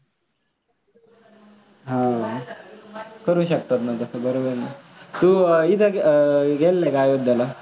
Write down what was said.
अं करू शकतात ना बरोबर आहे. तू इथं अं गेलेला का अयोध्याला?